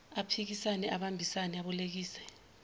aphisane abambise abolekise